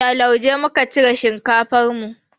Da lauje muka cire shinkafar mu.